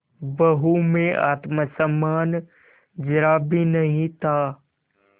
बहू में आत्म सम्मान जरा भी नहीं था